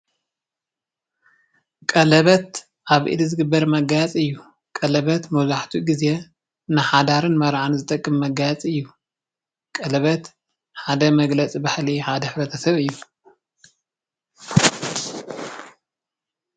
ቀለበት ኣብ ኢድ ዝግበር መጋየፂ እዩ። ቀለቤት ንሓዳርን መርዓን ዝጠቅም መጋየፂ እዩ። ቀለበት ሓደ መግለፂ ባህሊ ሕብረተ ሰብ እዩ።